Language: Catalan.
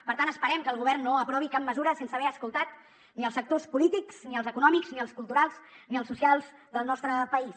per tant esperem que el govern no aprovi cap mesura sense haver escoltat ni els sectors polítics ni els econòmics ni els culturals ni els socials del nostre país